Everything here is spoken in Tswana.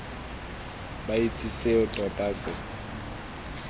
ba itse seo tota se